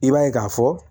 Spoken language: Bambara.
I b'a ye k'a fɔ